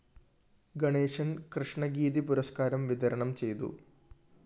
ഗണേശന്‍ കൃഷ്ണഗീതി പുരസ്‌കാരം വിതരണം ചെയ്തു